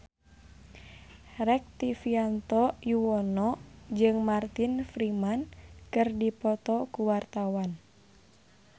Rektivianto Yoewono jeung Martin Freeman keur dipoto ku wartawan